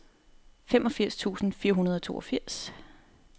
femogfirs tusind fire hundrede og toogfirs